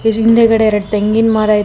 ಇದ್ರ್ ಹಿಂದೆಗಡೆ ಎರಡು ತೆಂಗಿನ ಮರ ಇದೆ ಬೇ--